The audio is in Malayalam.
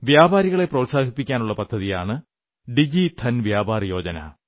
വ്യാപാരികളെ പ്രോത്സാഹിപ്പിക്കാനുള്ള പദ്ധതിയാണ് ഡിജിധൻ വ്യാപാർ യോജന